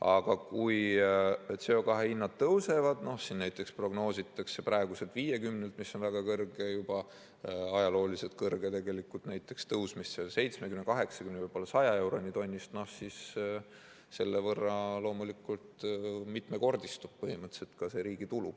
Aga kui CO2 hinnad tõusevad, näiteks prognoositakse praeguselt 50 eurolt, mis on juba väga kõrge, ajalooliselt kõrge, näiteks tõusmist 70, 80, võib-olla 100 euroni tonnist, siis selle võrra loomulikult mitmekordistub põhimõtteliselt ka see riigi tulu.